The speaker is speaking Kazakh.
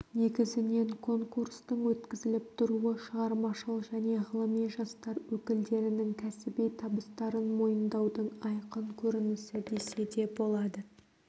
негізінен конкурстың өткізіліп тұруы шығармашыл және ғылыми жастар өкілдерінің кәсіби табыстарын мойындаудың айқын көрінісі десе де болады